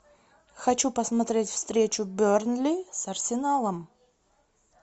хочу посмотреть встречу бернли с арсеналом